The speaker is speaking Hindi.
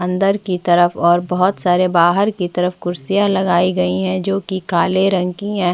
अंदर की तरफ और बहोत सारे बाहर की तरफ कुर्सियां लगाई गई है जो कि काले रंग की है।